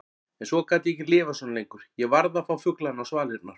En svo gat ég ekki lifað svona lengur, ég varð að fá fuglana á svalirnar.